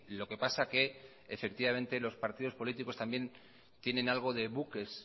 lo que pasa que los partidos políticos también tienen algo de buques